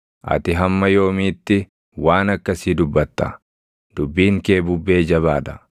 “Ati hamma yoomiitti waan akkasii dubbatta? Dubbiin kee bubbee jabaa dha.